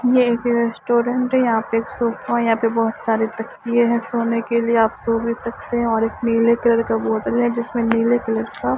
यह एक रेस्टोरेंट है यहां पे एक सोफा है यहां पे बहुत सारे तकिए हैं सोने के लिए आप सो भी सकते हैं और एक नीले कलर का बोतल है जिसमें नीले कलर का--